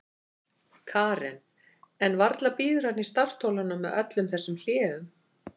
Karen: En varla bíður hann í startholunum með öllum þessum hléum?